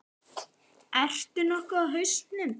Ert þú nokkuð á hausnum?